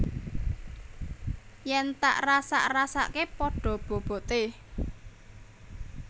Yen tak rasak rasakke pada bobote